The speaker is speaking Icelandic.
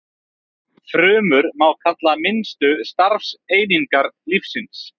Frumur má kalla minnstu starfseiningar lífsins.